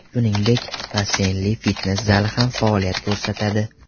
Shuningdek, basseynli fitnes zali ham faoliyat ko‘rsatadi.